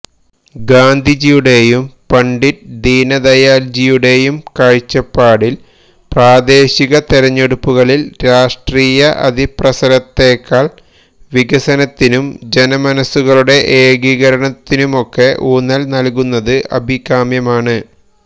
ഗാന്ധിജിയുടെയും പണ്ഡിറ്റ് ദീനദയാല്ജിയുടെയും കാഴ്ചപ്പാടില് പ്രാദേശിക തെരഞ്ഞെടുപ്പുകളില് രാഷ്ട്രീയ അതിപ്രസരത്തേക്കാള് വികസനത്തിനും ജനമനസ്സുകളുടെ ഏകീകരണത്തിനുമൊക്കെ ഊന്നല് നല്കുന്നത് അഭികാമ്യമാണ്